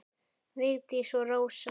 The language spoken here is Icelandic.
Vigdís og Rósa.